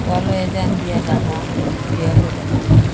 ওহানে রাহা যাহা যেটা যার।